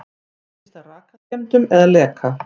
Tengist það rakaskemmdum eða leka?